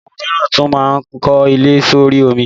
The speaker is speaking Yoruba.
Awọn omiran tun maa n ko ile s'ori omi